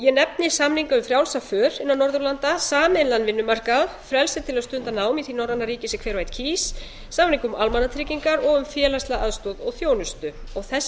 ég nefni samninga um frjálsa för innan norðurlanda sameiginlegan vinnumarkað frelsi til að stunda nám í því norræna ríki sem hver og einn kýs samning um almannatryggingar og um félagslega aðstoð og þjónustu þessir